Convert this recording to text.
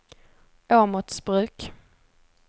Åmotsbruk